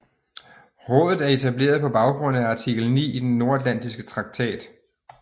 Rådet er etableret på baggrund af artikel 9 i den Nordatlantiske Traktat